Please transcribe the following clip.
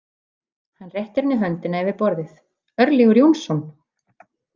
Hann réttir henni höndina yfir borðið, Örlygur Jónsson.